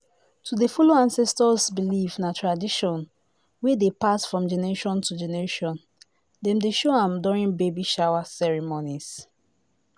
to dey follow ancestors beliefs na tradition wey dey pass from generation to generation dem dey show am during baby shower ceremonies